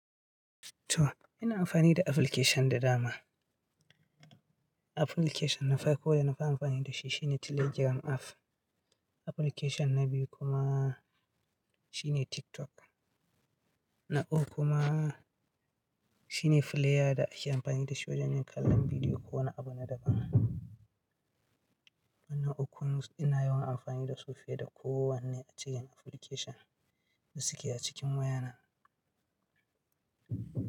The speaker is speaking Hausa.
To ina amfani da application da dama. Application na farko da na fi amfani da shi shine Telegram app. Application na biyu kuma shine TikTok na biyu kuma shine player da ake amfani da shi wajen kallon bidiyo ko wani abu na daban. Sai na ukun kuma ina yawan amfani da su fiye da kowane cikin application da suke a cikin wayana.